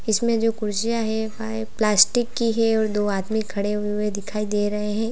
इसमें जो कुर्सियां हैं फाइ प्लास्टिक की है और दो आदमी खड़े हुए दिखाई दे रहे हैं।